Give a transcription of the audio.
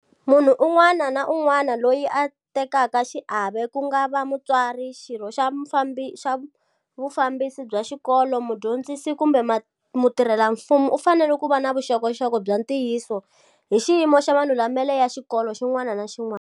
Munhu un'wana ni un'wana loyi a tekaka xiave, ku nga va mutswari, xirho xa vufambisi bya xikolo, mudyondzisi kumbe mutirhelamfumo u fanele ku va na vuxokoxoko bya ntiyiso hi xiyimo xa malulamelo ya xikolo xin'wana ni xin'wana.